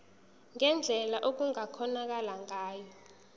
ngendlela okungakhonakala ngayo